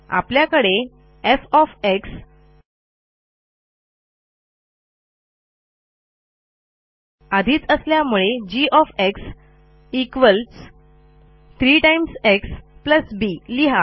आपल्याकडे एफ आधीच असल्यामुळे g 3 एक्स बी लिहा